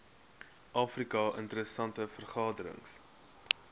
afrika interessante veranderings